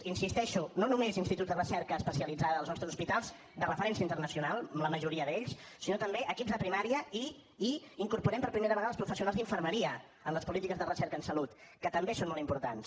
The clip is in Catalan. hi insisteixo no només instituts de recerca especialitzada dels nostres hospitals de referència internacional la majoria sinó també equips de primària i i incorporem per primera vegada els professionals d’infermeria en les polítiques de recerca en salut que també són molt importants